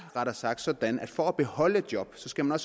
sådan at for at beholde et job skal man